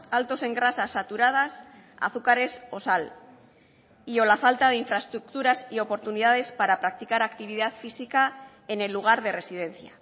altos en grasas saturadas azúcares o sal y o la falta de infraestructuras y oportunidades para practicar actividad física en el lugar de residencia